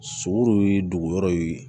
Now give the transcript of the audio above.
Sogo ye dugu yɔrɔ in